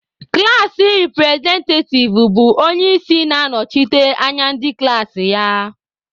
Klaasị representative bụ onye isi na na-anọchite anya ndị klaasị ya